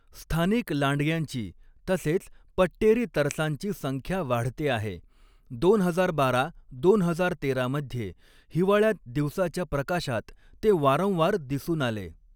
स्थानिक लांडग्यांची तसेच पट्टेरी तरसांची संख्या वाढते आहे, दोन हजार बारा दोन हजार तेरा मध्ये हिवाळ्यात दिवसाच्या प्रकाशात ते वारंवार दिसून आले.